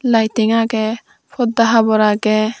lighting agey porda habor agey.